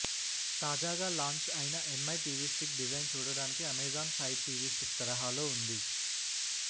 తాజాగా లాంచ్ అయిన MI TV stick design చూడటానికి అమెజాన్ ఫైర్ టీవీ స్టిక్ తరహాలో ఉంది